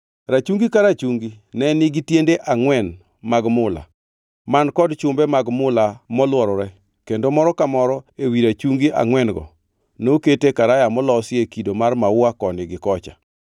Rachungi ka rachungi ne nigi tiende angʼwen mag mula, man kod chumbe mag mula molworore kendo moro ka moro ewi rachungi angʼwen-go nokete karaya molosi e kido mar maua koni gi kocha.